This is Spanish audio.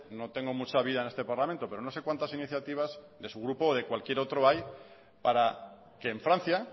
no tengo mucha vía en este parlamento pero no sé cuántas iniciativas de su grupo o de cualquier otro para que en francia